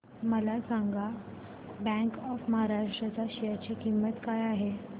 मला सांगा bank of Maharashtra च्या शेअर ची किंमत काय आहे